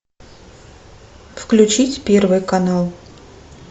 включить первый канал